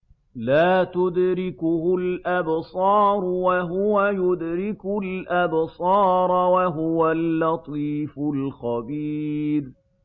لَّا تُدْرِكُهُ الْأَبْصَارُ وَهُوَ يُدْرِكُ الْأَبْصَارَ ۖ وَهُوَ اللَّطِيفُ الْخَبِيرُ